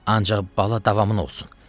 Ancaq bala davamın olsun.